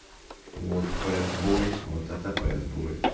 вот посбой вот это псбой